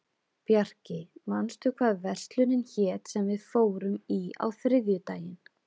Bjarki, manstu hvað verslunin hét sem við fórum í á þriðjudaginn?